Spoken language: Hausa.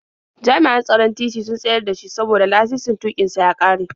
Jami'an tsaron titi sun tsayar da shi saboda lasisin tuƙin sa ya ƙare.